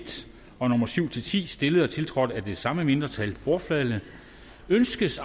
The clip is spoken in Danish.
og syv ti stillet og tiltrådt af det samme mindretal bortfaldet ønskes